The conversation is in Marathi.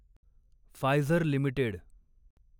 Pfizer limited